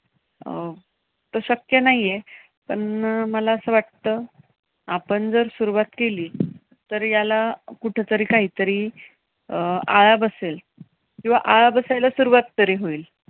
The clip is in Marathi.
अं शक्य नाहीये. पण मला असं वाटतं आपण जर सुरुवात केली तर याला कुठेतरी काहीतरी अं आळा बसेल. किंवा आळा बसायला सुरुवात तरी होईल.